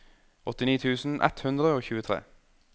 åttini tusen ett hundre og tjuetre